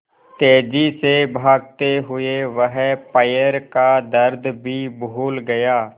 तेज़ी से भागते हुए वह पैर का दर्द भी भूल गया